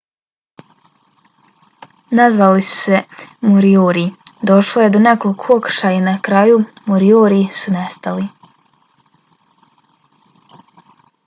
nazvali su se moriori došlo je do nekoliko okršaja i na kraju moriori su nestali